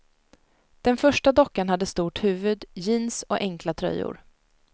Den första dockan hade stort huvud, jeans och enkla tröjor.